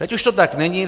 Teď už to tak není.